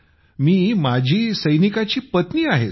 मी माजी सैनिकाची पत्नी आहे सर